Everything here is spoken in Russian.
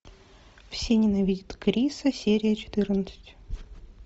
все ненавидят криса серия четырнадцать